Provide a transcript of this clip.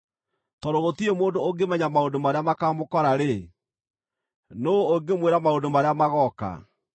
Tondũ gũtirĩ mũndũ ũngĩmenya maũndũ marĩa makaamũkora-rĩ, nũũ ũngĩmwĩra maũndũ marĩa magooka?